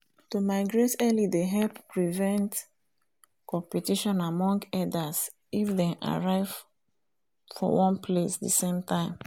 to migrate early dey help prevent competition among herders if them arrive for one place the same time